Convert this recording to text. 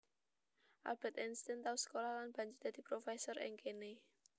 Albert Einstein tau sekolah lan banjur dadi profesor ing kéné